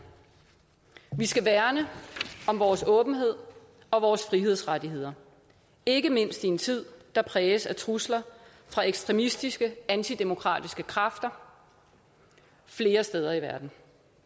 vi skal værne om vores åbenhed og vores frihedsrettigheder ikke mindst i en tid der præges af trusler fra ekstremistiske antidemokratiske kræfter flere steder i verden